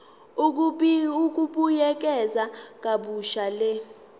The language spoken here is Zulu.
ukubuyekeza kabusha le